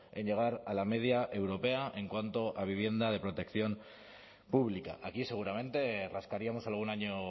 en llegar a la media europea en cuanto a vivienda de protección pública aquí seguramente rascaríamos algún año